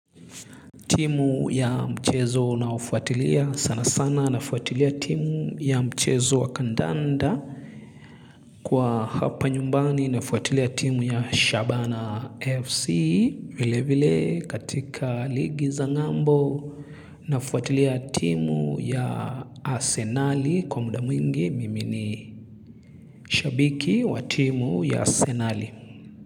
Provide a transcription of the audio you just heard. Timu ya mchezo unaofuatilia sana sana na fuatilia timu ya mchezo wakandanda kwa hapa nyumbani na fuatilia timu ya Shabana FC vile vile katika ligi za ng'ambo na fuatilia timu ya Asenali kwa muda mwingi mimi ni shabiki wa timu ya Asenali.